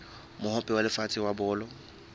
mohope wa lefatshe wa bolo